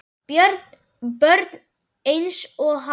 Börn einsog hann.